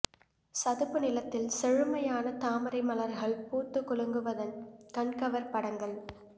சதுப்பு நிலத்தில் செழுமையான தாமரை மலர்கள் பூத்து குலுங்குவதன் கண்கவர் படங்கள்